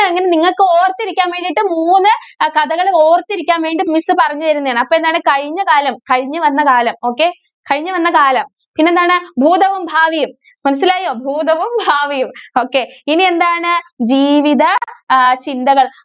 ആ കഥകള് ഓര്‍ത്തിരിക്കാന്‍ വേണ്ടീ miss പറഞ്ഞു തരുന്നയാണ്‌. അപ്പോ എന്താണ്? കഴിഞ്ഞ കാലം കഴിഞ്ഞു വന്ന കാലം, okay. കഴിഞ്ഞു വന്ന കാലം, പിന്നെന്താണ്? ഭൂതവും, ഭാവിയും. മനസ്സിലായോ? ഭൂതവും ഭാവിയും okay ഇനിയെന്താണ്? ജീവിത അഹ് ചിന്തകള്‍.